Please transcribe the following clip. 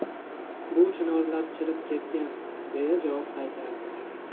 Bu chinorlar chirib ketgan’, deya javob qaytardi.